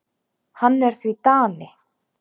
Hann er því Dani.